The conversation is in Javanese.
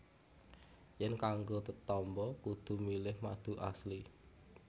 Yèn kanggo tetamba kudu milih madu Asli